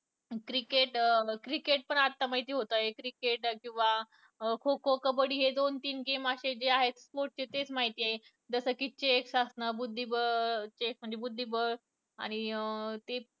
Cricket, cricket पण आता माहिती होतंय cricket किंवा खो - खो, कबड्डी हे दोन तीन game असे जे आहे sports चे तेच माहित आहे. जसं कि chess असणं बुद्धिबळ chess बुद्धिबळ आणि अं ते